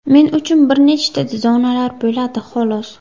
Men uchun bir nechta zonalar bo‘ladi, xolos.